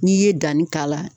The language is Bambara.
N'i ye danni k'a la